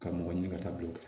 Ka mɔgɔ ɲini ka taa bilen